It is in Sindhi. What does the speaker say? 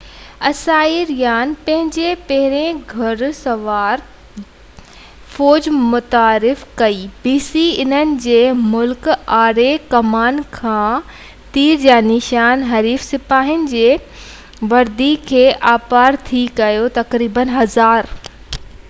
انهن جي مهلڪ آڙي ڪمان کان تير جا نشان حريف سپاهين جي وردي کي آرپار ٿي ڪيو. تقريبن 1000 b.c ۾، اسائيريان پنهنجي پهريئن گُهڙ سوار فوج متعارف ڪئي